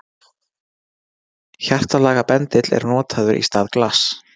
Hjartalaga bendill er notaður í stað glass.